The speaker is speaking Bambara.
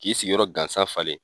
K'i sigiyɔrɔ gansa falen.